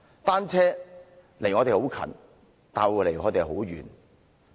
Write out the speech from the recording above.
單車，離我們很近，但又離我們很遠。